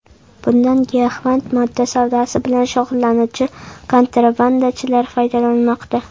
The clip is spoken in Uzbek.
Bundan giyohvand modda savdosi bilan shug‘ullanuvchi kontrabandachilar foydalanmoqda.